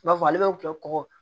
I b'a fɔ ale bɛ tubabu kɔgɔ